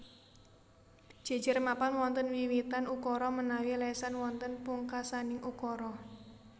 Jejer mapan wonten wiwitan ukara menawi lesan wonten pungkasaning ukara